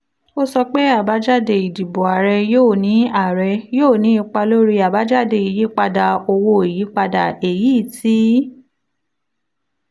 ó sọ pé àbájáde ìdìbò ààrẹ yóò ní ààrẹ yóò ní ipa lórí àbájáde ìyípadà owó ìyípadà èyí tí